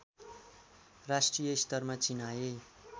राष्ट्रिय स्तरमा चिनाए